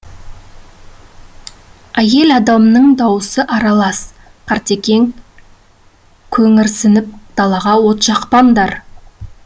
әйел адамның дауысы аралас қартекең көңірсітіп далаға от жақпаңдар